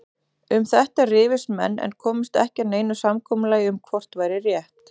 Um þetta rifust menn en komust ekki að neinu samkomulagi um hvort væri rétt.